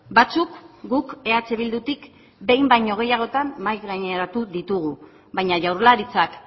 batzuk guk eh bildutik behin baino gehiagotan mahai gaineratu ditugu baina jaurlaritzak